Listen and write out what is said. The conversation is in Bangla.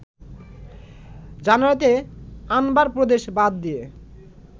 জানুয়ারিতে আনবার প্রদেশ বাদ দিয়ে